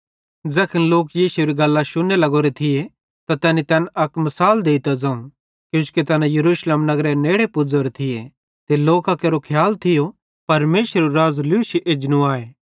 ज़ैखन लोक यीशुएरी गल्लां शुन्ने लग्गोरो थिये त तैनी तैन अक मिसाल देइतां ज़ोवं किजोकि तैना यरूशलेम नगरेरे नेड़े पुज़ोरे थिये ते लोकां केरो खियाल थियो परमेशरेरू राज़ लूशी एजनूए